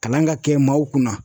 Kalan ka kɛ maaw kunna.